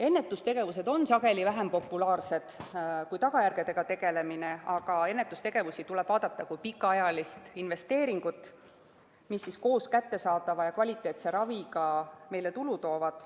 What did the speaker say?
Ennetustegevus on sageli vähem populaarne kui tagajärgedega tegelemine, aga ennetustegevust tuleb vaadata kui pikaajalist investeeringut, mis koos kättesaadava kvaliteetse raviga meile tulu toovad.